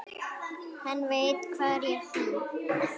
Hann veit hvar ég bý.